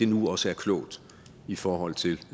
nu også er klogt i forhold til